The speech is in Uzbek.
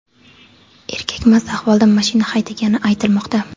Erkak mast ahvolda mashina haydagani aytilmoqda.